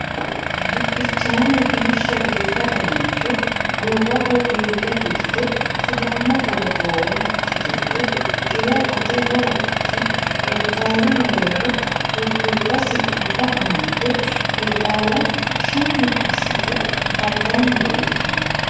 Bukkichaame biishsha biifado mancho goowaho diigga dirte sidaamu qolo goowaho xaaxidhe xila qoteho wodhite qeexaalu mereero urdubba siqqubba amadde qeexaala shammi assite kaddanni leeltanno.